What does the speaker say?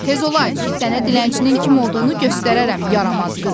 Tez ol aç, sənə dilənçinin kim olduğunu göstərərəm, yaramaz qız!